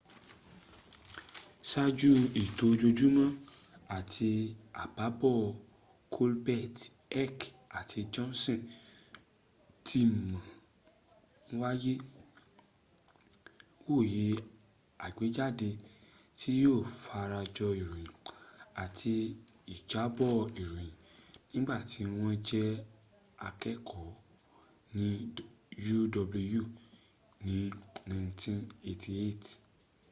sááju ètò ojoojúmọ́ àtì àbábọ̀ colbert heck àti johnson ti ma ń wòye àgbéjáde tí yíó fara jọ ìròyìn—àti ìjábọ̀ ìròyìn—nígbàtí wọ́n jẹ́ akẹ́ẹ̀kọ́ ní uw ní 1988